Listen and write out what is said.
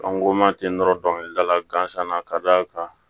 An go ma ten nɔrɔ dɔnkilidala gansan na ka d'a kan